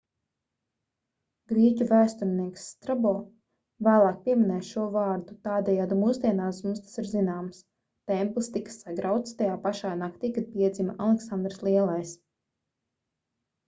grieķu vēsturnieks strabo vēlāk pieminēja šo vārdu tādējādi mūsdienās mums tas ir zināms templis tika sagrauts tajā pašā naktī kad piedzima aleksandrs lielais